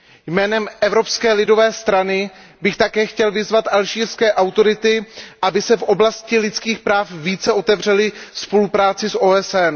Jménem Evropské lidové strany bych také chtěl vyzvat alžírské autority, aby se v oblasti lidských práv více otevřely spolupráci s OSN.